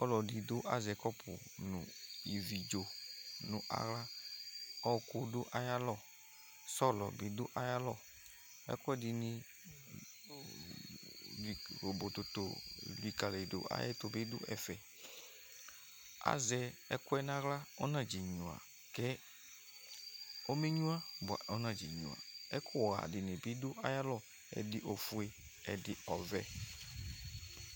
Ɔlɔdi du azɛ kɔpu nawla ɔwɔku du ayalɔ sɔlɔ bi du ayaylɔ Ɛkuɛdin bii klobotoo elikaliyidu nɛfɛ A zɛ ɛkuɛ nawla Ɔnennyua kɛ ɔma be nyua Ivlitsɛ ɔbe ɛfua bi l ɛdigbo ofue efuani ɔvɛ